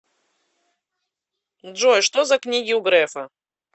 джой что за книги у грефа